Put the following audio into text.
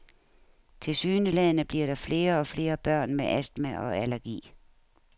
Tilsyneladende bliver der flere og flere børn med astma og allergi.